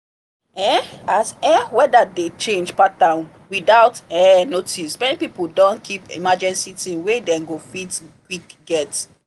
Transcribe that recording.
um as um weather dey change pattern without um notice many people don keep emergency things wey dem go fit quick get.